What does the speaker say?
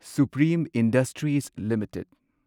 supreme Industries limited